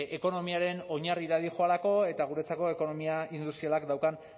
ekonomiaren oinarrira doalako eta guretzako ekonomia industrialak daukan